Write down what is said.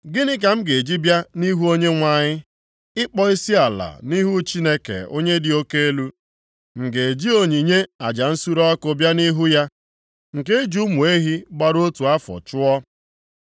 Gịnị ka m ga-eji bịa nʼihu Onyenwe anyị, ịkpọ isiala nʼihu Chineke onye dị oke elu? M ga-eji onyinye aja nsure ọkụ bịa nʼihu ya nke e ji ụmụ ehi gbara otu afọ chụọ?